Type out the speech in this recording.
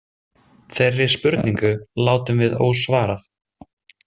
Þeirri spurningu látum við ósvarað.